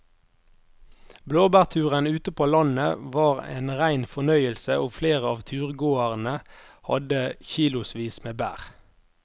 Blåbærturen ute på landet var en rein fornøyelse og flere av turgåerene hadde kilosvis med bær.